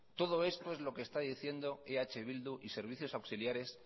todo esto es lo que está diciendo eh bildu y servicios auxiliares